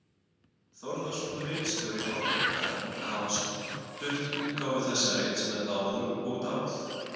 Þórðarson, ritstjóri Árbókar, hafa stutt útgáfu þessa rits með ráðum og dáð.